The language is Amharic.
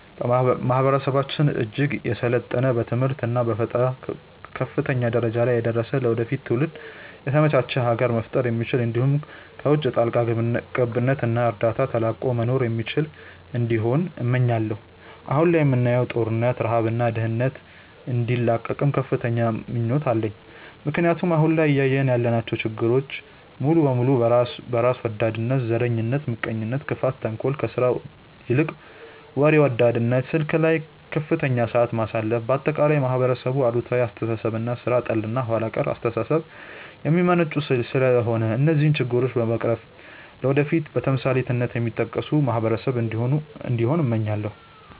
ማህበረሰባችን እጅግ የሰለጠነ በትምህርት እና በፈጠራ ከፍተኛ ደረጃ ላይ ደርሶ ለወደፊት ትውልዶች የተመቻች ሀገር መፍጠር የሚችል እንዲሁም ከውቺ ጣልቃ ገብነት እና እርዳታ ተላቆ መኖር የሚችል እንዲሆን እመኛለው። አሁን ላይ የምናየውን ጦርነት፣ ረሃብ እና ድህነት እንዲላቀቅም ከፍተኛ ምኞት አለኝ ምክንያቱም አሁን ላይ እያየን ያለናቸው ችግሮች ሙሉ በሙሉ በራስ ወዳድነት፣ ዘረኝነት፣ ምቀኝነት፣ ክፋት፣ ተንኮል፣ ከስራ ይልቅ ወሬ ወዳድነት፣ ስልክ ላይ ከፍተኛ ሰዓት ማሳለፍ፣ በአጠቃላይ ከማህበረሰብ አሉታዊ አስተሳሰብ እና ሥራ ጠል እና ኋላ ቀር አስተሳሰብ የሚመነጩ ስለሆነ እነዚህን ችግሮች በመቅረፍ ለወደፊት በተምሳሌትነት የሚጠቀስ ማህበረሰብ እንዲሆን እመኛለው።